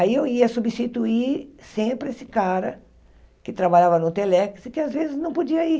Aí eu ia substituir sempre esse cara que trabalhava no Telex e que às vezes não podia ir.